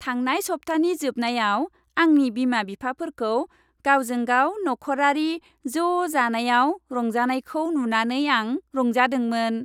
थांनाय सबथानि जोबनायाव आंनि बिमा बिफाफोरखौ गावजोंगाव नख'रारि ज' जानायाव रंजानायखौ नुनानै आं रंजादोंमोन।